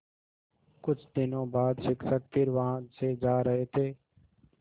कुछ दिनों बाद शिक्षक फिर वहाँ से जा रहे थे